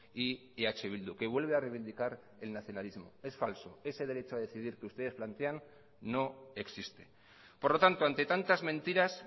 y eh bildu que vuelve a reivindicar el nacionalismo es falso ese derecho a decidir que ustedes plantean no existe por lo tanto ante tantas mentiras